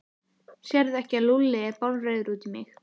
Sérðu ekki að Lúlli er bálreiður út í mig?